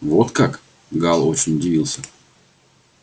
вот как гаал очень удивился